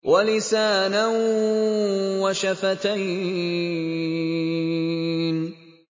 وَلِسَانًا وَشَفَتَيْنِ